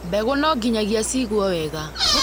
Mbegũ no nginyagia cigũo wega